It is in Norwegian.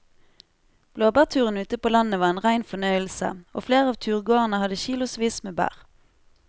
Blåbærturen ute på landet var en rein fornøyelse og flere av turgåerene hadde kilosvis med bær.